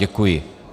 Děkuji.